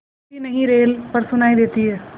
दिखती नहीं रेल पर सुनाई देती है